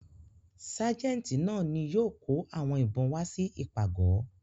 Ságẹ́ńtì náà ni yóò kó àwọn ìbọn wá sí ìpàgọ̀.